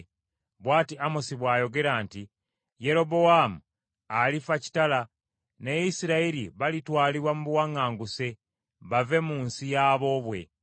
Bw’ati Amosi bw’ayogera nti, “ ‘Yerobowaamu alifa kitala, ne Isirayiri balitwalibwa mu buwaŋŋanguse bave mu nsi yaboobwe.’ ”